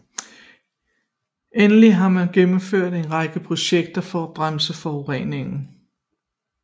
Endelig har man gennemført en række projekter for at bremse forureningen